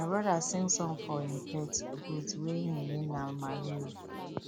my brother sing song for him pet goat wey him name na mario